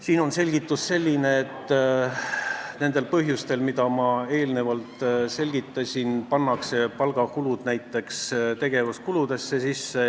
Siin on selgitus selline, et nendel põhjustel, mida ma enne selgitasin, pannakse näiteks palgakulud tegevuskuludesse.